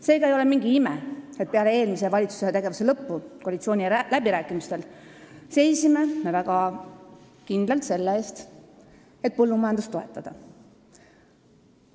" Seega ei ole mingi ime, et peale eelmise valitsuse tegevuse lõppu seisime me koalitsiooniläbirääkimistel väga kindlalt selle eest, et põllumajandust toetada.